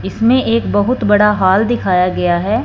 इसमें एक बहुत बड़ा हॉल दिखाया गया है।